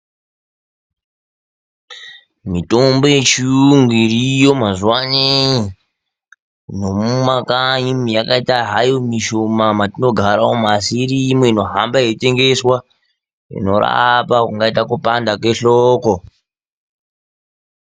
Mitombo yechiyungu iriyo mazuwano mumakanyi ,yakaite hayo mishomani mwatinogaramwo asi iriyo inohamba yeitengeswa inorape kungaiteyi kupanda kwehloko.